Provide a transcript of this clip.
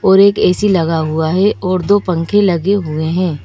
और एक ए_सी लगा हुआ है और दो पंखे लगे हुए है।